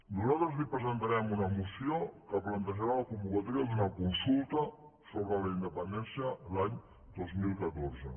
nosaltres li presentarem una moció que plantejarà la convocatòria d’una consulta sobre la independència l’any dos mil catorze